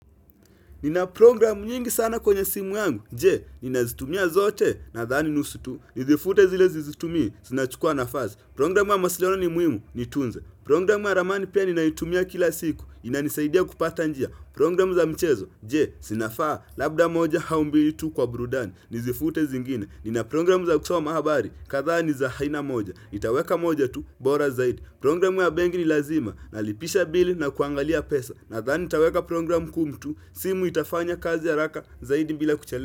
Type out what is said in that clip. Nina programu nyingi sana kwenye simu yangu, je, ninazitumia zote nadhani nusu tu Nizifute zilesizitumii, zinachukua nafasi Programu wa mawasiliano ni muhimu, nitunze Programu wa ramani pia ninaitumia kila siku, inanisaidia kupata njia Programu za mchezo, je, zinafaa, labda moja au mbili tu kwa burudani Nizifute zingine, nina programu za kusoma habari, kadhaa ni za aina moja Nitaweka moja tu, bora zaidi Programu wa benki ni lazima, nalipisha bill na kuangalia pesa Nadhani nitaweka program humu tu simu itafanya kazi ya raka Zaidi bila kuchelewa.